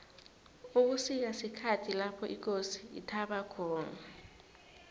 ubusika sikhathi lapho ikosi ithaba khona